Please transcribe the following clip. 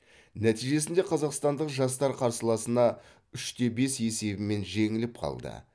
нәтижесінде қазақстандық жастар қарсыласына үш те бес есебімен жеңіліп қалды